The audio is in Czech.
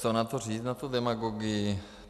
Co na to říct, na tu demagogii?